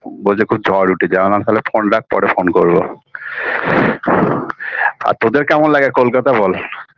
বলছে খুব ঝড় উঠেছে আমি বললাম তালে phone রাখ পরে phone করবো BREATH আর তোদের কেমন লাগে কলকাতা বল